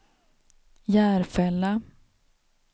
Järfälla